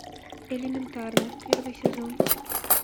элементарно первый сезон